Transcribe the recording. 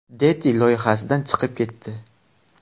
Deti” loyihasidan chiqib ketdi.